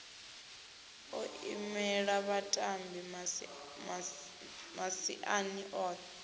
o imela vhatambi masiani o